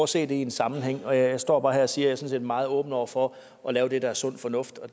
se det i en sammenhæng jeg står bare her og siger set er meget åben over for at lave det der er sund fornuft og